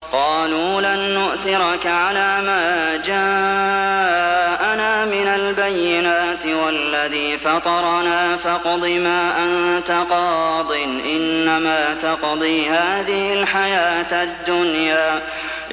قَالُوا لَن نُّؤْثِرَكَ عَلَىٰ مَا جَاءَنَا مِنَ الْبَيِّنَاتِ وَالَّذِي فَطَرَنَا ۖ فَاقْضِ مَا أَنتَ قَاضٍ ۖ إِنَّمَا تَقْضِي هَٰذِهِ الْحَيَاةَ الدُّنْيَا